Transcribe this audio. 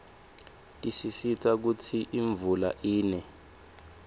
tisisita kutsi imvula ine